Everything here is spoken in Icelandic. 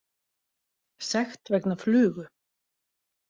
Sekt vegna flugu